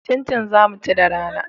Cincin za mu ci da rana